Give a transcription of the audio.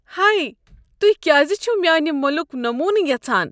ہے. تۄہہ کیٛاز چھو میٛانہ مُلک نموٗنہٕ یژھان؟